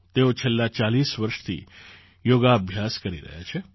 તેઓ છેલ્લાં ૪૦ વર્ષથી યોગાભ્યાસ કરી રહ્યાં છે